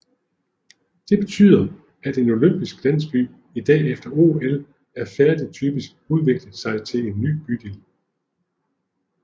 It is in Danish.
Det betyder at en olympiske landsby i dag efter OL er færdigt typisk udvikler sig til en ny bydel